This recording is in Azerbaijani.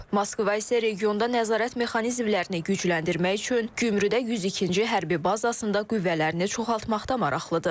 Moskva isə regionda nəzarət mexanizmlərini gücləndirmək üçün Gümrüdə 102-ci hərbi bazasında qüvvələrini çoxaltmaqda maraqlıdır.